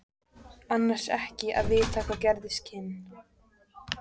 Annars ekki að vita hvað gerast kynni.